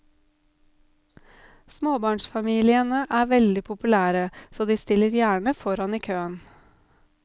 Småbarnsfamiliene er veldig populære, så de stiller gjerne foran i køen.